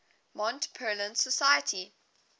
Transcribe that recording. mont pelerin society